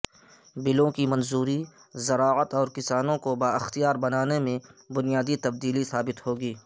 بلوں کی منظوری زراعت اور کسانوں کو بااختیار بنانے میں بنیادی تبدیلی ثابت ہوگی